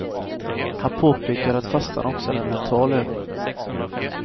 Han påpekar att fastan också är en mental övning.